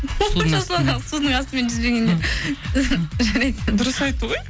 судың асытмен жүзбегенде жарайды дұрыс айтты ғой